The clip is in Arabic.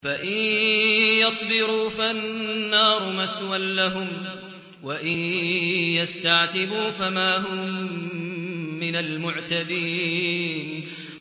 فَإِن يَصْبِرُوا فَالنَّارُ مَثْوًى لَّهُمْ ۖ وَإِن يَسْتَعْتِبُوا فَمَا هُم مِّنَ الْمُعْتَبِينَ